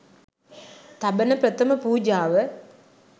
තබන ප්‍රථම පූජාව